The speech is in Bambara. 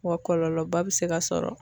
Wa kɔlɔlɔba bɛ se ka sɔrɔ.